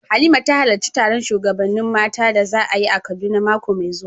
Halima ta halarci taron shugabannin mata da za a yi a Kaduna mako mai zuwa.